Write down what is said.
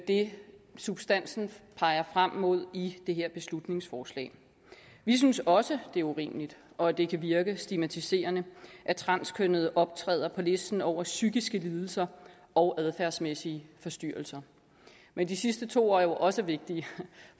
det substansen peger frem mod i det her beslutningsforslag vi synes også det er urimeligt og at det kan virke stigmatiserende at transkønnede optræder på listen over psykiske lidelser og adfærdsmæssige forstyrrelser men de sidste to er jo også vigtige